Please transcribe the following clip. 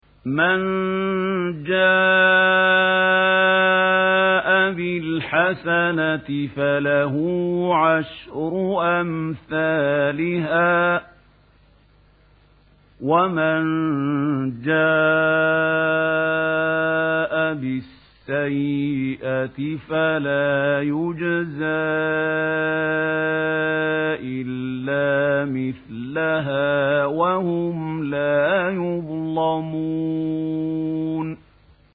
مَن جَاءَ بِالْحَسَنَةِ فَلَهُ عَشْرُ أَمْثَالِهَا ۖ وَمَن جَاءَ بِالسَّيِّئَةِ فَلَا يُجْزَىٰ إِلَّا مِثْلَهَا وَهُمْ لَا يُظْلَمُونَ